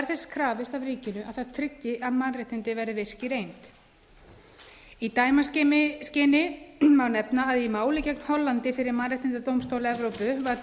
er þess krafist af ríkinu að það tryggi að mannréttindi verði virk í reynd í dæmaskyni má nefna að í máli gegn hollandi fyrir mannréttindadómstóli evrópu var